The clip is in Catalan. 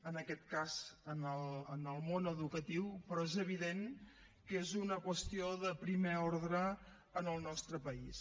en aquest cas en el món educatiu però és evident que és una qüestió de primer ordre en el nostre país